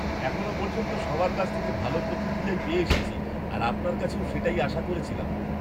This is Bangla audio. এখনও পর্যন্ত সবার কাছ থেকে ভালো প্রতিক্রিয়াই পেয়ে এসেছি আর আপনার কাছেও সেটাই আশা করেছিলাম।